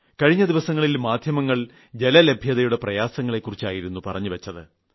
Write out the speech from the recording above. കഴിഞ്ഞ ദിവസങ്ങളിൽ മാധ്യമങ്ങൾ ജലലഭ്യതയുടെ പ്രയാസങ്ങളെ കുറിച്ചായിരുന്നു പറഞ്ഞുവച്ചത്